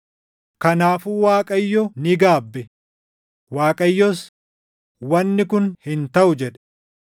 Kanaafuu Waaqayyo ni gaabbe. Waaqayyos, “Wanni kun hin taʼu” jedhe.